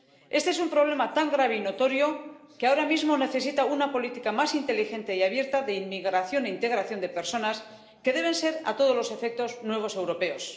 Este es un problema tan grave y notorio que ahora mismo necesita una política más inteligente y abierta de inmigración e integración de personas, que deben ser, a todos los efectos, nuevos europeos.